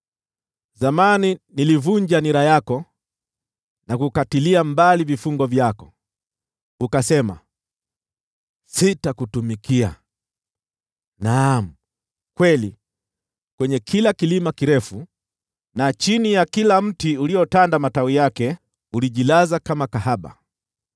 “Zamani nilivunja nira yako na kukatilia mbali vifungo vyako; ukasema, ‘Sitakutumikia!’ Naam kweli, kwenye kila kilima kirefu na chini ya kila mti uliotanda matawi yake ulijilaza kama kahaba.